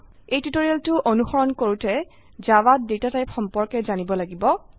এই টিউটোৰিয়েলটো অনুসৰণ কৰুতে জাভাত ডেটা টাইপ সম্পৰ্কে জানিব লাগিব